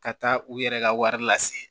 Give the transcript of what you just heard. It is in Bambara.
Ka taa u yɛrɛ ka wari lase